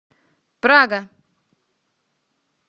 прага